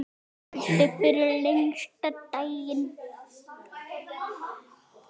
Kvöldið fyrir lengsta daginn.